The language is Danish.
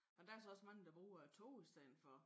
Men der så også mange der bruger æ tog i stedet for